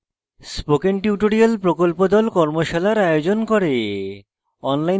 spoken tutorial প্রকল্প the কর্মশালার আয়োজন করে